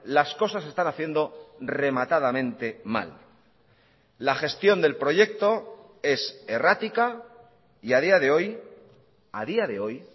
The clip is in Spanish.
las cosas se están haciendo rematadamente mal la gestión del proyecto es errática y a día de hoy a día de hoy